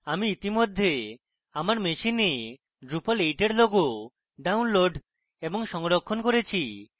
আমি ইতিমধ্যে আমার machine একটি drupal 8 এর logo ডাউনলোড এবং সংরক্ষণ করেছি